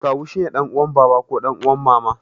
Kawu shine ɗan uwan baba ko ɗan uwan mama.